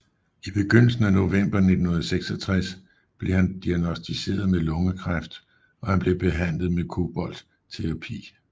I begyndelsen af november 1966 blev han diagnosticeret med lungekræft og han blev behandlet med koboltterapi